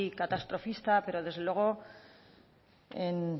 catastrofista pero desde luego en